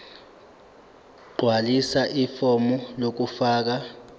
gqwalisa ifomu lokufaka